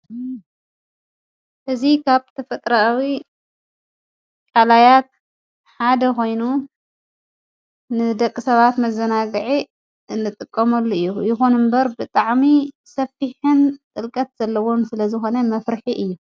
እዚ ካብ ተፈጥሮኣዊ ቃላያት ሓደ ኮይኑ ንደቂ ሰባት መዘናግዒ ንጥቀመሉ እዩ፡፡ ይኹን እምበር ብጣዕሚ ሰፊሕን ጥልቀት ዘለዎን ስለዝኾነ መፍርሒ እዩ፡፡